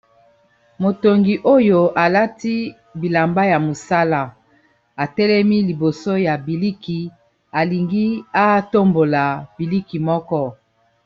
motongi oyo alati bilamba ya mosala atelemi liboso ya biliki alingi atombola biliki moko